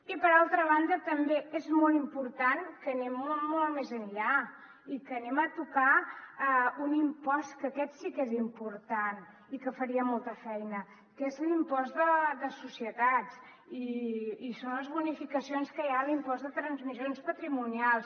i per altra banda també és molt important que anem molt més enllà i que anem a tocar un impost que aquest sí que és important i que faria molta feina que és l’impost de societats i són les bonificacions que hi ha a l’impost de transmissions patrimonials